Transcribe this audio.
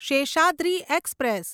Seshadri express